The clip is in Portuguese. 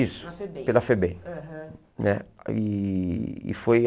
Isso, na FEBEM, foi na FEBEM. Aham. Né ih e foi